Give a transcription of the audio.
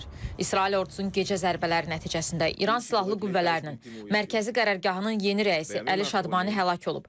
İsrail ordusunun gecə zərbələri nəticəsində İran silahlı qüvvələrinin mərkəzi qərargahının yeni rəisi Əli Şadmani həlak olub.